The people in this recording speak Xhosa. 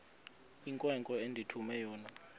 inkwenkwe endithume yona